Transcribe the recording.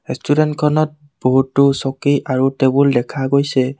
ৰেষ্টুৰেন্তখনত বহুতো চকী আৰু টেবুল দেখা গৈছে।